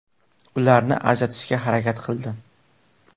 Ularni ajratishga harakat qildim.